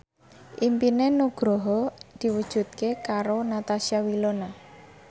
impine Nugroho diwujudke karo Natasha Wilona